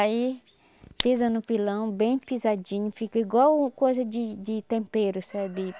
Aí pisa no pilão bem pisadinho, fica igual coisa de de tempero, sabe?